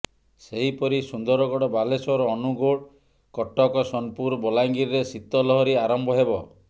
ସେହିପରି ସୁନ୍ଦରଗଡ଼ ବାଲେଶ୍ବର ଅନୁଗୋଳ କଟକ ସୋନପୁର ବଲାଙ୍ଗୀରରେ ଶୀତ ଲହରୀ ଆରମ୍ଭ ହେବ